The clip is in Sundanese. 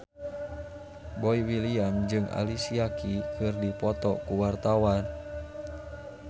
Boy William jeung Alicia Keys keur dipoto ku wartawan